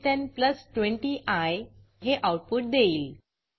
20आय हे आऊटपुट देईल